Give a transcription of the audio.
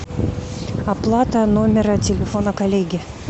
оплата номера телефона коллеги